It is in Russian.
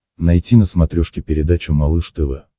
найти на смотрешке передачу малыш тв